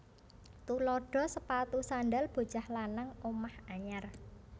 Tuladha sepatu sandhal bocah lanang omah anyar